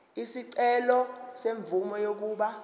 isicelo semvume yokuba